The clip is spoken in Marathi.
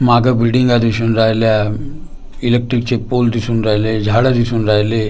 माग बिल्डिंग दिसून राहिल्या इलेक्ट्रिकचे पोल दिसून राहिले झाड दिसून राहिले.